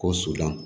Kɔ su la